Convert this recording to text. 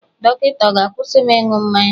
Dọkịta ọ̀ ga-akwụsị m ịṅụ mmanya?